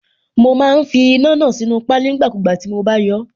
Mo má ń fi iná náà sínú páálí nígbàkúùgbà tí mo bá yọọ́.